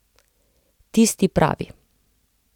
Tisti pravi.